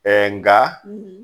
Ɛɛ nga